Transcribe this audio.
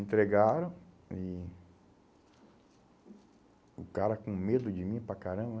Entregaram e... O cara com medo de mim para caramba, né?